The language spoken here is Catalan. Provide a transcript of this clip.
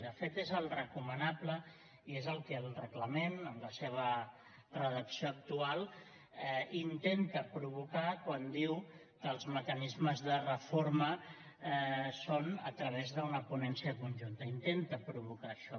de fet és el recomanable i és el que el reglament en la seva redacció actual intenta provocar quan diu que els mecanismes de reforma són a través d’una ponència conjunta intenta provocar això